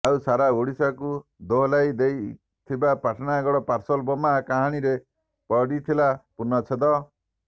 ଆଉ ସାରା ଓଡ଼ିଶାକୁ ଦୋହଲାଇ ଦେଇଥିବା ପାଟଣାଗଡ଼ ପାର୍ସଲ ବୋମାର କାହାଣୀରେ ପଡିଥିଲା ପୂର୍ଣ୍ଣଛେଦ